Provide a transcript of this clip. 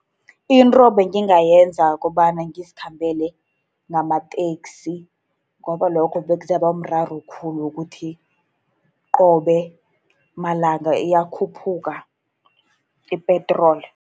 Into engingayenza kukobana ngizikhambele ngamateksi, ngoba lokho bekuzoba umraro khulu wokuthi qobe malanga iyakhuphuka i-petrol.